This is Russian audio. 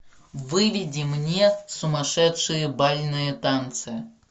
выведи мне сумасшедшие бальные танцы